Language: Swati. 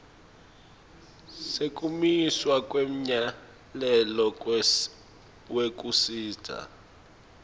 sekumiswa kwemyalelo wekusisa